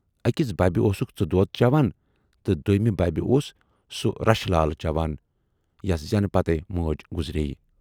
ٲکِس بَبہِ اوسُکھ ژٕ دۅد چٮ۪وان تہٕ دویمہِ بَبہِ اوس سُہ رشہٕ لال چٮ۪وان یس زٮ۪نہٕ پتے مٲج گُذرییہِ۔